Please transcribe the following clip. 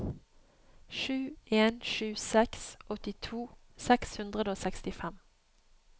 sju en sju seks åttito seks hundre og sekstifem